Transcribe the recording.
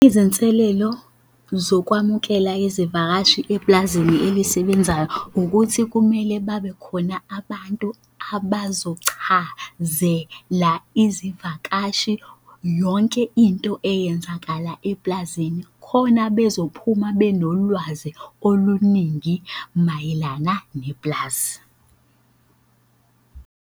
Izinselelo zokwamukela izivakashi epulazini elisebenzayo ukuthi kumele babe khona abantu abazochazela izivakashi yonke into eyenzakala epulazini khona bezophuma benolwazi oluningi mayelana nepulazi.